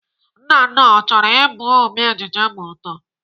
Nnanna, ọ chọrọ Ị bụ ome ejije ma ọ too?